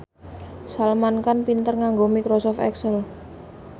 Salman Khan pinter nganggo microsoft excel